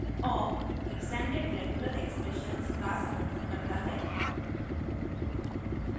awk extended regular expressions ere का समर्थन करता है